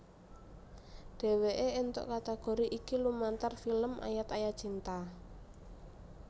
Dhéwéké éntuk kategori iki lumantar film Ayat Ayat Cinta